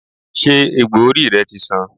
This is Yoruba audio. Ṣé egbò orí rẹ ti san?